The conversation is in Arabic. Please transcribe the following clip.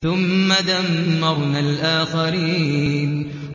ثُمَّ دَمَّرْنَا الْآخَرِينَ